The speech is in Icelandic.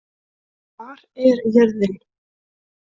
Hvar er jörðin?